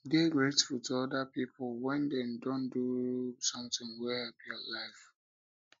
dey grateful to oda pipo when dem don do something wey help your life